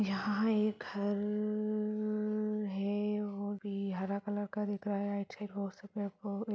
यहाँ एक घर है वो भी हरा कलर का दिख रहा है अच्छे--